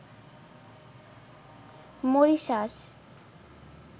Mauritius